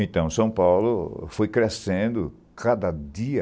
Então, São Paulo foi crescendo cada dia